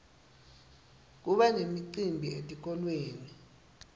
kuba nemicimbi etikolweni